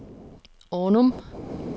Ornum